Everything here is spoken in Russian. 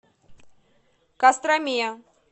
костроме